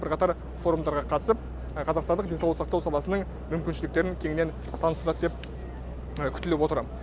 бірқатар форумдарға қатысып қазақстандық денсаулық сақтау саласының мүмкіншіліктерін кеңінен таныстырады деп күтіліп отыр